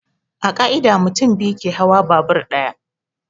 A ƙa'ida, mutum biyu ke hawa babur ɗaya.